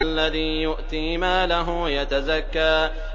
الَّذِي يُؤْتِي مَالَهُ يَتَزَكَّىٰ